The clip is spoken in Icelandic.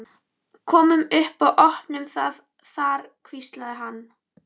Komum upp og opnum það þar hvíslaði hann.